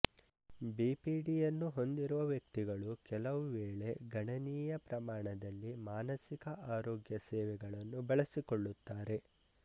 ಬಿಪಿಡಿಯನ್ನು ಹೊಂದಿರುವ ವ್ಯಕ್ತಿಗಳು ಕೆಲವು ವೇಳೆ ಗಣನೀಯ ಪ್ರಮಾಣದಲ್ಲಿ ಮಾನಸಿಕ ಆರೋಗ್ಯ ಸೇವೆಗಳನ್ನು ಬಳಸಿಕೊಳ್ಳುತ್ತಾರೆ